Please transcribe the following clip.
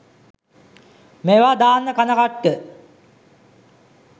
මේවා දාන්න කන කට්ට